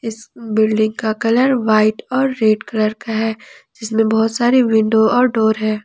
Building का colour white और red colour का है जिसमें बहुत सारी विंडो और डोर है।